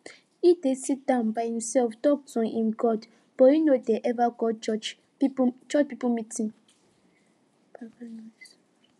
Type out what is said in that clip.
he dey sit down by himself talk to him god but he no dey ever go church pipo meeting